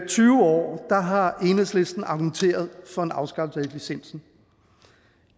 tyve år har enhedslisten argumenteret for en afskaffelse af licensen